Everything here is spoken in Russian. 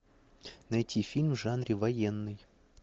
найти фильм в жанре военный